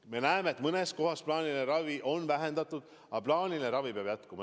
Me näeme, et mõnes kohas on plaanilist ravi vähendatud, aga plaaniline ravi peab jätkuma.